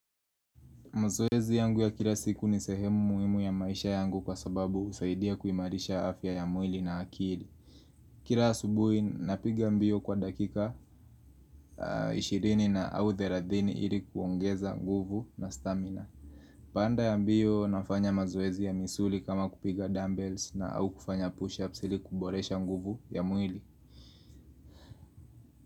Mazoezi yangu ya kila siku ni sehemu muhimu ya maisha yangu kwa sababu husaidia kuimarisha afya ya mwili na akili Kila asubuhi napiga mbio kwa dakika 20 na au 13 ili kuongeza nguvu na stamina pande ya mbio nafanya mazoezi ya misuli kama kupiga dumbbells na au kufanya pushups ili kuboresha nguvu ya mwili.